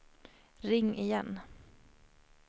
ring igen